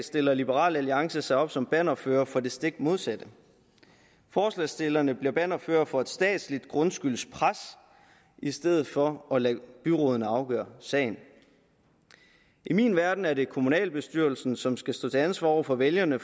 stiller liberal alliance sig op som bannerfører for det stik modsatte forslagsstillerne bliver bannerførere for et statsligt grundskyldspres i stedet for at lade byrådene afgøre sagen i min verden er det kommunalbestyrelsen som skal stå til ansvar over for vælgerne